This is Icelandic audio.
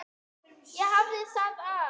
Ég hafði það af.